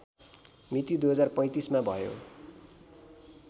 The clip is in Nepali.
मिति २०३५मा भयो